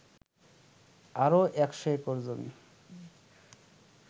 আরও ১০০ একর জমি